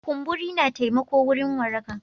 Kumburi na taimako wurin waraka.